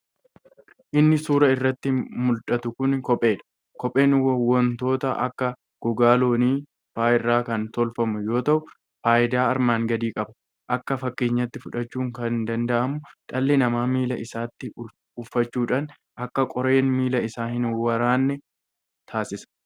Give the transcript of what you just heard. Inni suuraa irratti muldhatu kun kopheedha. kopheen wontoota akka gogaa loonii fa'a irra kan tolfamu yoo ta'u faayidaa armaan gadii qaba. Akka fakkeenyatti fudhachuun kan danda'amu dhalli namaa miila isaatti uffachuudhaan akka qoreen miila isaa hin woraanne taasisa.